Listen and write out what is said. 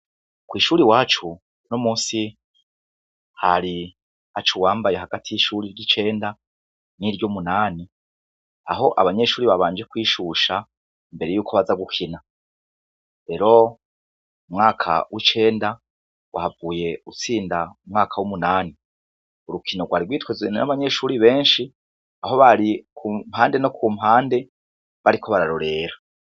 Kw’ishure iwacu unomunsi hari haca uwambaye hagati y’ishure ry’icenda n’iryumunani aho abanyeshure babanje kwishusha imbere yuko baza gukina, rero umwaka w’icenda wahavuye utsinda umwaka w’umunani. Urukino rwari rwitwazanye n’abanyeshure benshi aho bari kumpande no kumpande bariko bararorera.